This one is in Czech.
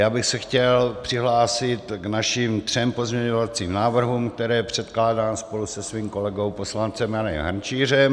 Já bych se chtěl přihlásit k našim třem pozměňovacím návrhům, které předkládám spolu se svým kolegou poslancem Janem Hrnčířem.